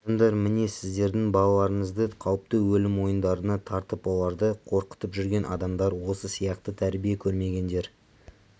адамдар міне сіздердің балаларыңызды қауіпті өлім ойындарына тартып оларды қорқытып жүрген адамдар осы сияқты тәрбие көрмегендер